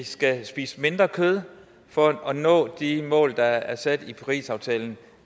skal spise mindre kød for at nå de mål der er sat i parisaftalen